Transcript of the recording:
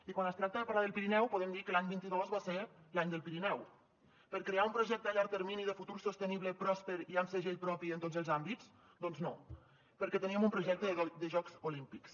i quan es tracta de parlar del pirineu podem dir que l’any vint dos va ser l’any del pirineu per crear un projecte a llarg termini de futur sostenible pròsper i amb segell propi en tots els àmbits doncs no perquè teníem un projecte de jocs olímpics